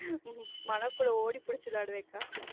மனோ கூட ஓடிப் பிடிச்சு விளையடுவேன்கா.